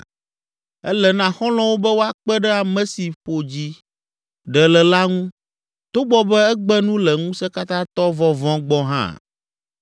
“Ele na xɔlɔ̃wo be woakpe ɖe ame si ƒo dzi ɖe le la ŋu togbɔ be egbe nu le Ŋusẽkatãtɔ vɔvɔ̃ gbɔ hã.